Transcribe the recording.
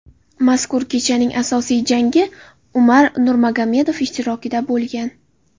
Mazkur kechaning asosiy jangi Umar Nurmagomedov ishtirokida bo‘lgan.